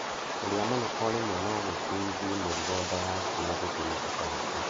Kũrĩa mũno o rĩmwe no gũkuithie mũrigo nda yaku na gũtũme ũtahĩke.